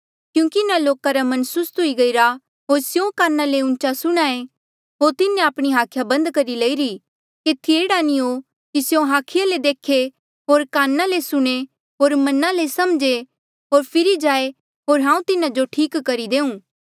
क्यूंकि इन्हा लोका रा मन सुस्त हुई गईरा होर स्यों काना ले ऊँचा सुणहां ऐें होर तिन्हें आपणी हाखिया बन्द करी लईरी केथी एह्ड़ा नी हो कि स्यों हाखिया ले देखे होर काना ले सुणे होर मना ले समझे होर फिरी जाए होर हांऊँ तिन्हा जो ठीक करी देऊं